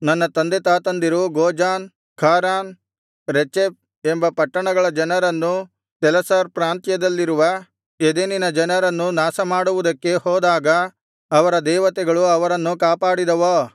ನನ್ನ ತಂದೆತಾತಂದಿರು Gozan Haran Rezeph ಎಂಬ ಪಟ್ಟಣಗಳ ಜನರನ್ನೂ ತೆಲಸ್ಸಾರ್ ಪ್ರಾಂತ್ಯದಲ್ಲಿರುವ ಎದೆನಿನ ಜನರನ್ನೂ ನಾಶಮಾಡುವುದಕ್ಕೆ ಹೋದಾಗ ಅವರ ದೇವತೆಗಳು ಅವರನ್ನು ಕಾಪಾಡಿದವೋ